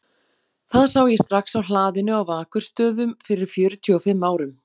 Það sá ég strax á hlaðinu á Vakursstöðum fyrir fjörutíu og fimm árum.